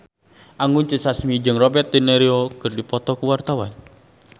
Anggun C. Sasmi jeung Robert de Niro keur dipoto ku wartawan